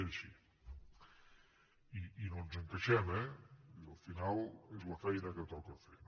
és així i no ens en queixem eh vull dir al final és la feina que toca fer